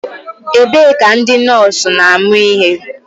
Ebee ka ndị nọọsụ na-amụ ihe?